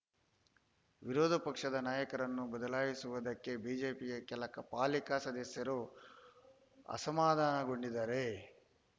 ವಿರೋಧ ಪಕ್ಷದ ನಾಯಕರನ್ನು ಬದಲಾಯಿಸದಿರುವುದಕ್ಕೆ ಬಿಜೆಪಿಯ ಕೆಲ ಪಾಲಿಕೆ ಸದಸ್ಯರು ಅಸಮಾಧಾನಗೊಂಡಿದ್ದಾರೆ